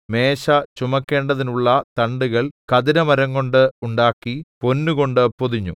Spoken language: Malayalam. മേശ ചുമക്കേണ്ടതിനുള്ള തണ്ടുകൾ ഖദിരമരംകൊണ്ട് ഉണ്ടാക്കി പൊന്നുകൊണ്ട് പൊതിഞ്ഞു